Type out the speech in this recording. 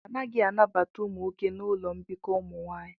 A naghị anabata ụmụ nwoke na ụlọ mbikọ ụmụ nwanyị